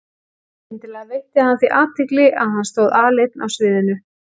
Skyndilega veitti hann því athygli að hann stóð aleinn á sviðinu.